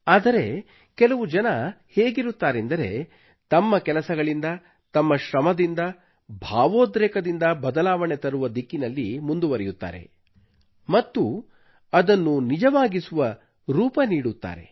ಆದರೆ ಕೆಲವು ಜನರು ಹೇಗಿರುತ್ತಾರೆಂದರೆ ತಮ್ಮ ಕೆಲಸಗಳಿಂದ ತಮ್ಮ ಶ್ರಮದಿಂದ ಭಾವೋದ್ರೇಕದಿಂದ ಬದಲಾವಣೆ ತರುವ ದಿಕ್ಕಿನಲ್ಲಿ ಮುಂದುವರೆಯುತ್ತಾರೆ ಮತ್ತು ಅದನ್ನು ನಿಜವಾಗಿಸುವ ರೂಪ ನೀಡುತ್ತಾರೆ